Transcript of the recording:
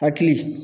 Hakili